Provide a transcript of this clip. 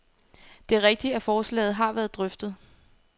Det er rigtigt, at forslaget har været drøftet.